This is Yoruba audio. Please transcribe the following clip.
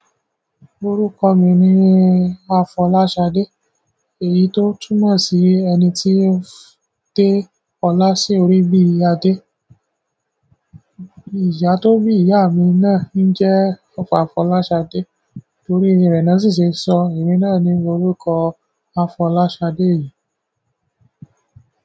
Orúkọ mi ni Afọláṣadé, èyí tó túmọ̀ sí ẹni tí ó de ọlá sí orí bí i Adé. Ìyá tó bí ìyá mi náà ni jẹ́ Ọba Afọláṣadé, torí rẹ̀ ni wọ́n sì ṣe sọ emi náà ní orúkọ Afọláṣadé yìí.